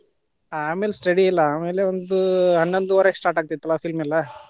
ಆಮೇಲೆ study ಇಲ್ಲಾ, ಆಮೇಲೆ ಒಂದೂ ಹನ್ನೊಂದುವರೆಗ start ಆಗ್ತಿತ್ತಲ್ಲಾ film ಎಲ್ಲಾ.